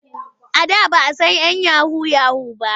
A da ba a san 'yan yahu-yahu ba.